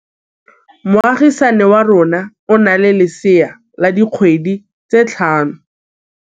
Moagisane wa rona o na le lesea la dikgwedi tse tlhano.